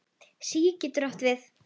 SÍ getur átt við